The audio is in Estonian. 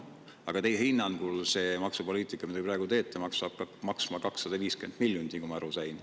Aga teie hinnangul see maksupoliitika, mida te praegu teete, hakkab maksma 250 miljonit, nagu ma aru sain.